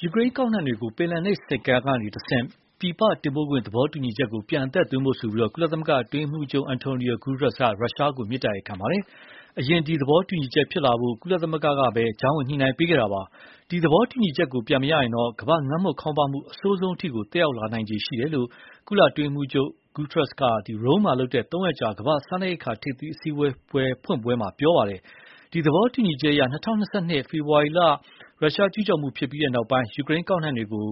ယူကရိန်းကောက်နှံတွေကို ပင်လယ်နက်ဆိပ်ကမ်းတွေကတဆင့် ပြည်ပတင်ပို့ခွင့် သဘောတူညီချက်ကို ပြန်အသက်သွင်းဖို့ ကုလသမဂ္ဂအတွင်းရေးမှုးချုပ် Antonio Guterres က ရုရှားကို မေတ္တာရပ်ခံလိုက်ပါ တယ်။ အရင ဒီ သဘောတူညီချက်ဖြစ်လာဖို့ ကုလသမဂ္ဂကပဲ ကြားဝင်ညှိုနှိုင်းပေးခဲ့တာပါ။ ဒီသဘောတူညီချက်ကို ပြန်မရရင်တော့ ကမ္ဘာမှာငတ်မွတ်ခေါင်းပါးမှု အဆိုးဆုံးထိ သက်ရောက်မှုရှိလာ လိမ့်မယ်လို့ ကုလအတွင်းရေးမှုးချုပ် Guterres က Rome မှာလုပ်တဲ့ သုံးရက်ကြာ ကမ္ဘာ့စားနပ်ရိက္ခာ ထိပ်သီးအစည်းအဝေးဖွင့်ပွဲမှာ ပြောပါတယ်။ ဒီ သဘောတူညီချက်အရ ၂၀၂၂ ဖေဖော်ဝါရီလ ရုရှားကျူးကျော်မှုဖြစ်ပြီးနောက် ယူကရိန်းကောက်နှံတွေကို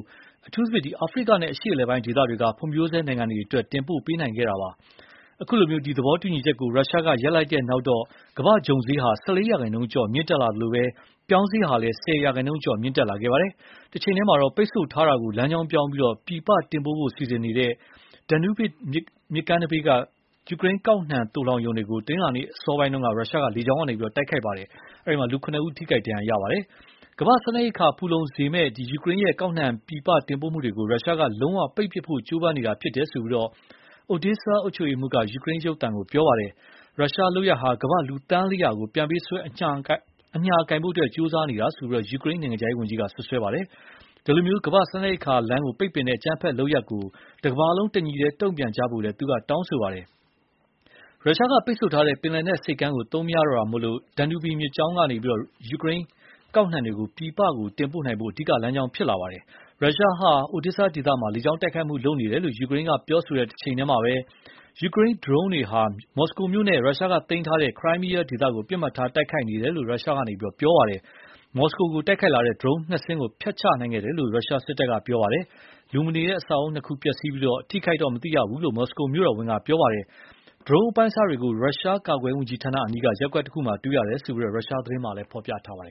အထူးသဖြင့် အာဖရိကနဲ့ အရှေ့အလယ်ပိုင်း ဒေသတွေက ဖွံဖြိုးဆဲနိုင်ငံတွေအတွက် တင်ပို့ပေးနိုင်ခဲ့တာပါ။ အခုလို ဒီသဘောတူညီချက်ကို ရုရှားကရပ်လိုက်တဲ့နောက်တော့ ကမ္ဘာ့ဂျုံဈေးဟာ ၁၄ ရာခိုင်နှုန်းကျော် မြင့်တက်လာသလို ပြောင်းဈေးဟာလည်း ၁၀ ရာခိုင်နှုန်းကျော် မြင့်တက်လာခဲ့ပါတယ်။ တချိန်တည်းမှာ တော့ ပိတ်ဆို့ထားတာကိုလမ်းကြောင်းပြောင်းပြီး ပြည်ပတင်ပို့ဖို့ စီစဉ်နေတဲ့ Danube မြစ်ကမ်းနံဘေးက ယူကရိန်းကောက်နှံသိုလှောင်ရုံတွေကို တနင်္လာနေ့ အစောပိုင်းက ရုရှားကလေကြောင်းကနေ တိုက်ခိုက်တာကြောင့် လူ ၇ဦးထိခိုက်ဒဏ်ရာရခဲ့ပါတယ်။ ကမ္ဘာ့စားနပ်ရိက္ခာ ဖူလုံစေစေမယ့် ယူကရိန်းရဲ့ ကောက်နှံပြည်ပတင်ပို့မှုတွေကို ရုရှားက လုံးဝ ပိတ်ပစ်ဖို့ ကြိုးပမ်းနေတာဖြစ်တယ်လို့ Odesa အုပ်ချုပ်ရေးမှုးက ယူကရိန်းရုပ်သံကို ပြောပါတယ်။ ရုရှားလုပ်ရပ်ဟာ ကမ္ဘာ့လူ သန်းလေးရာကို ပြန်ပေးဆွဲ အညှာကိုင်ဖို့ ကြိုးစားနေတာလို့ ယူကရိန်းနိုင်ငံခြားရေးဝန်ကြီးက စွပ်စွဲပါတယ်။ ဒီလို ကမ္ဘာ့စားနပ်ရိက္ခာကိုပိတ်ပင်တဲ့အကြမ်းဖက်လုပ်ရပ်ကို တကမ္ဘာလုံး တညီတည်း တုံ့ပြန်ကြဖို့လည်း သူက တောင်းဆိုပါတယ်။ ရုရှားက ပိတ်ဆို့ထားတဲ့ ပင်လယ်နက်ဆိပ်ကမ်းကို သုံးမရတော့တာကြောင့် Danube မြစ်ကြောင်းဟာ ယူကရိန်းကောက်နှံတွေကို ပြည်ပပို့နိုင်ဖို့ အဓိက လမ်းဖြစ်လာပါတယ်။ ရုရှားဟာ Odesa ဒေသမှာ လေကြောင်းတိုက်ခိုက်မှုလုပ်နေတယ်လို့ ယူကရိန်းပြောဆိုတဲ့တချိန်တည်းမှာပဲ၊ ယူကရိန်းဒရုန်းယာဥ်တွေဟာ မော်စကိုမြို့နဲ့ ရုရှားတို့သိမ်းပိုက်ထားတဲ့ ခရိုင်းမီးယားကို ပစ်မှတ်ထားတိုက် ခိုက်နေတယ်လို့ ရုရှားကပြောဆိုပါတယ်။ မော်စကိုကို တိုက်ခိုက်လာတဲ့ ဒရုန်းယာဥ် နှစ်စင်းကို ဖျက်ချနိုင်ခဲ့ တယ်လို့ ရုရှားစစ်တပ်က ပြောပါတယ်။ လူမနေတဲ့ အဆောက်အဦးနှစ်ခုပျက်စီးပြီး လူအထိအခိုက်မသိရဘူးလို့ မော်စကို မြို့တော်ဝန်က ပြောပါ တယ်။ ဒရုန်းယာဥ်အပိုင်းအစတွေကို ရုရှားကာကွယ်ရေးဝန်ကြီးဌာနအနီးက ရပ်ကွက်တခုမှာ တွေ့ရတယ်လို့ ရုရှားသတင်းတွေမှာဖော်ပြခဲ့ပါတယ်